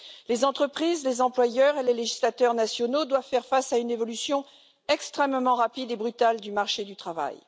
Les entreprises, les employeurs et les législateurs nationaux doivent faire face à une évolution extrêmement rapide et brutale du marché du travail.